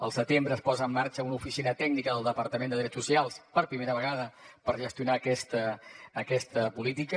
al setembre es posa en marxa una oficina tècnica del departament de drets socials per primera vegada per gestionar aquesta política